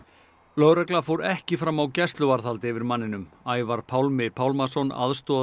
lögregla fór ekki fram á gæsluvarðhald yfir manninum Ævar Pálmi Pálmason